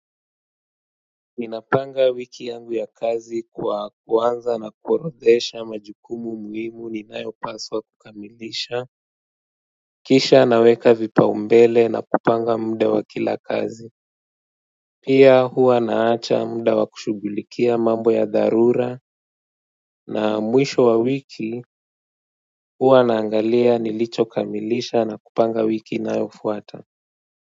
Ninapanga wiki yangu ya kazi kwa kuanza na kuorodhesha majukumu muhimu ninayopaswa kukamilisha. Kisha naweka vipaumbele na kupanga muda wa kila kazi. Pia huwa naacha muda wa kushughulikia mambo ya dharura na mwisho wa wiki huwa naangalia nilichokamilisha na kupanga wiki inayofuata.